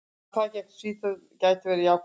Tapið gegn Svíþjóð gæti verið jákvætt.